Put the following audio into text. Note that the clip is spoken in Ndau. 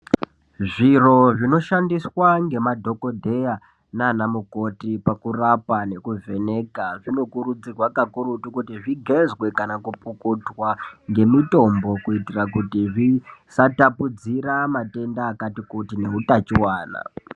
Zviro zvinoshandiswa nemadhokodheya nana mukoti pakurapwa nekuvheneka zvinokurudzirwa kakurutu kuti zvigezwe kana pakupukutwa nemitombo kuitira kuti isatapudzira matenda akati kuti neutanchiwana.